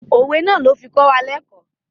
Òwe náà ló fi kọ́ wa lẹ́kọ̀ọ́.